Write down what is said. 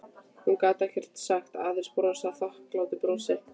Hún gat ekkert sagt, aðeins brosað þakklátu brosi.